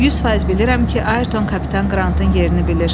100% bilirəm ki, Ayrton kapitan Qrantın yerini bilir.